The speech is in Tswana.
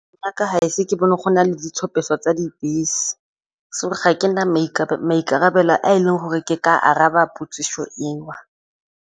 A ka ga ise ke bone go na le ditshupetso tsa dibese so ga ke na maikarabelo a e leng gore ke ka araba dipotsiso eo.